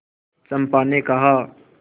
चंपा ने कहा